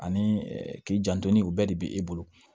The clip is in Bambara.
Ani k'i janto ni o bɛɛ de bɛ e bolo